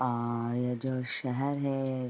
आ ये जो शेहर है --